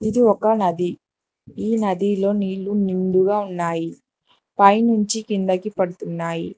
ఇది ఒక నది ఈ నదిలో నీళ్లు నిండుగా ఉన్నాయి పైనుంచి కిందకి పడుతున్నాయి.